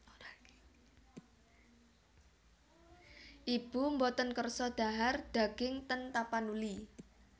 Ibu mboten kersa dhahar daging ten Tapanuli